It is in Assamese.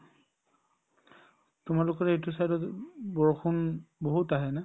তোমালোকৰ এইটো side ত বৰষুণ বহুত আহে না